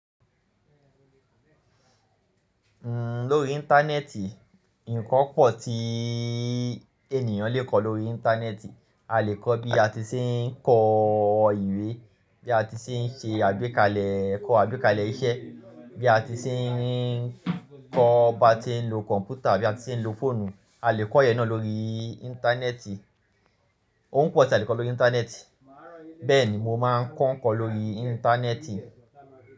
Lórí Íńtánẹ́ẹ̀tì, ǹkan pọ̀ tí ènìyàn lè kọ lórí Íńtánẹ́ẹ̀tì. A lè kọ bí a ti ṣe ń kọ ìwé, bí a ti ṣe ń ṣe àgbékalẹ̀, kọ àgbékalẹ̀ iṣẹ́, bí a ti ṣe ń kọ bá ti ń lo kọ̀ǹpútà, bí a ti ń lo fóònù. A lè kọ ìyẹn náà lórí Íńtánẹ́ẹ̀tì. Ohun pọ̀ tí a lè kọ lórí Íńtánẹ́ẹ̀tì, bẹ́ẹ̀ ni mo máa ń kọ ǹkan lórí Íńtánẹ́ẹ̀tì.